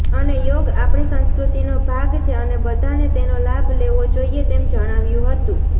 અને યોગ આપણી સંસ્કૃતિનો ભાગ છે અને બધાને તેનો લાભ લેવો જોઈએ તેમ જણાવ્યું હતું